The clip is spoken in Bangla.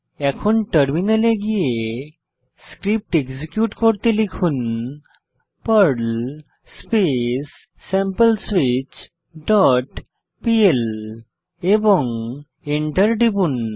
এখন টার্মিনালে গিয়ে স্ক্রিপ্ট এক্সিকিউট করতে লিখুন Perl space sample switch dot PL এবং এন্টার টিপুন